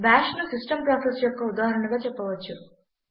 బాష్ను system process యొక్క ఉదాహరణగా చెప్పవచ్చు